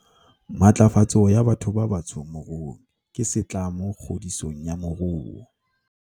Matlafatso ya batho ba batsho moruong ke setlamo kgodisong ya moruo